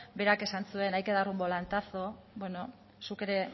berak esan zuen que hay que dar un volantazo beno zuk ere